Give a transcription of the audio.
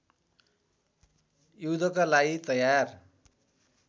युद्धका लागि तयार